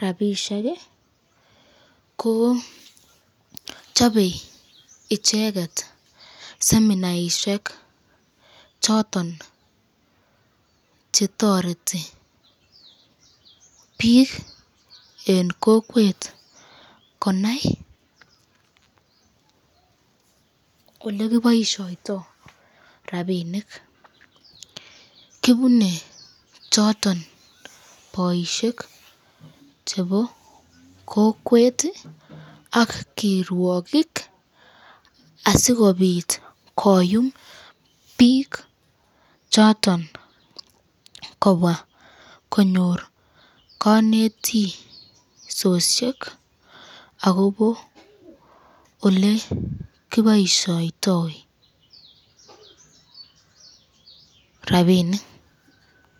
rapisheki ko chobe icheket seminaishek choton chetoreti biik en kokwet konai kole kiboishoito rapinik kibunee choton boishek chepo kokweti ak kirwokik asikopit koyum biik choton kopa konyor konetishoshek akobo ole kiboishoito rapinik